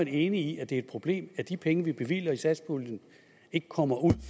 enig i at det er et problem at de penge vi bevilger i satspuljen ikke kommer ud